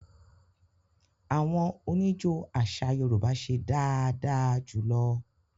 Àwọn oníjó àṣà Yorùbá ṣe dáadáa jù lọ